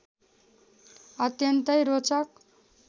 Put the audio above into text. अत्यन्तै रोचक